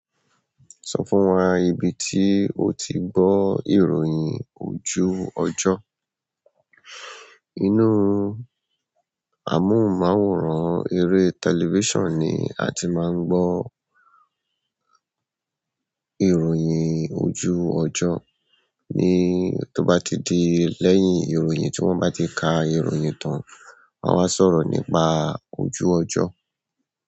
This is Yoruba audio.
Sọ fún wa ibi tí o ti gbọ́ ìròyìn ojú ọjọ́. Inú amóhùnmáwòrán eré tẹlifísàn ni a ti máa ń gbọ́ ìròyìn ojú ọjọ́. Ni tó bá ti di lẹ́yìn ìròyìn tí wọ́n bá ti ka ìròyìn tán, wọn a wáa sọ̀rọ̀ nípa ojú ọjọ́.